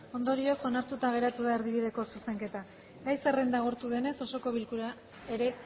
ondorioz onartuta geratu da erdibideko zuzenketa gai zerrenda agortu denez osoko bilkura ere